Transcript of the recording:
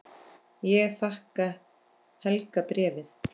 Ég þakka Helga bréfið.